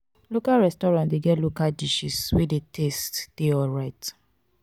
local restaurant de get local dishes wey di taste de alright